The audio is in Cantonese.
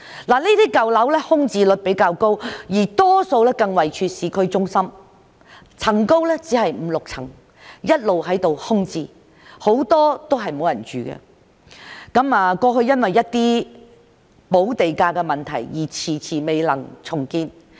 這些舊樓空置率比較高，大多數更位處市區中心，樓高只有五六層，一直空置，很多都沒有人居住，過去因為補地價的問題而遲遲未能重建。